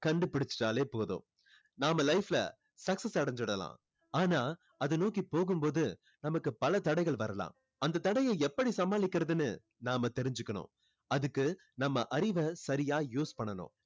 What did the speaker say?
கண்டுபுடிச்சிட்டாளே போதும் நாம life ல success அடைஞ்சுடலாம் ஆனா அதை நோக்கி போகும் போது நமக்கு பல தடைகள் வரலாம் அந்த தடையை எப்படி சமாளிக்கிறதுன்னு நாம தெறிஞ்சுக்கணும் அதுக்கு நம்ம அறிவை சரியா use பண்ணணும்